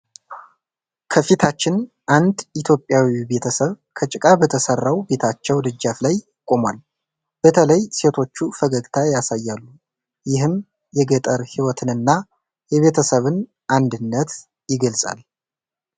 ከፊታችን አንድ ኢትዮጵያዊ ቤተሰብ ከጭቃ በተሰራው ቤታቸው ደጃፍ ላይ ቆሟል። በተለይ ሴቶቹ ፈገግታ ያሳያሉ፣ ይህም የገጠር ሕይወትንና የቤተሰብን አንድነት ይገልጻል።